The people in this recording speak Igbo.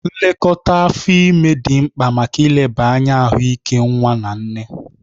Nlekọta afọ ime dị mkpa maka ileba anya ahụike nwa na nne